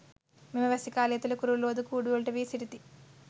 මෙම වැසි කාලය තුළ කුරුල්ලෝ ද කූඩුවලට වී සිටිති.